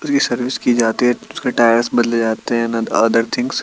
री सर्विस कि जाती है उसका टायर्स बदले जाते है अदर थिग्न्स --